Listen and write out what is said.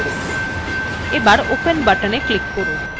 এখন open buttonএ click করুন